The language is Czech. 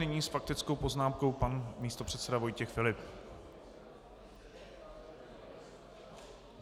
Nyní s faktickou poznámkou pan místopředseda Vojtěch Filip.